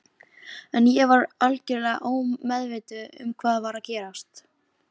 En ég var algjörlega ómeðvituð um hvað var að gerast.